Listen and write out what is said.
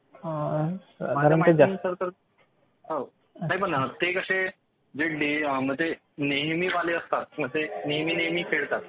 ते कसे जे नेहमी वाले असतात ते नेहमी नेहमी खेळतात.